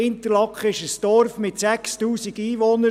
Interlaken ist ein Dorf mit 6000 Einwohnern.